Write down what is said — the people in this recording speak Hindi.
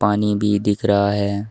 पानी भी दिख रहा है।